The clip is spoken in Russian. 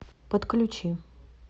подключи